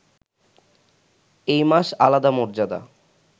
এই মাস আলাদা মর্যাদা